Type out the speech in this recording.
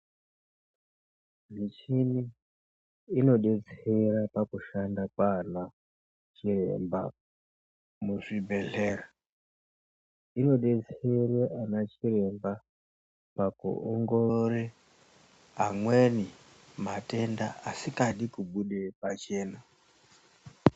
Michini inodetsera pakushanda kwaana chiremba muzvibhedhleya. Inodetsere anachiremba pakuongorore amweni matenda asikadi kubude pachena.